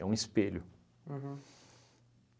É um espelho. Uhum.